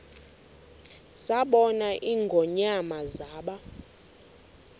zabona ingonyama zaba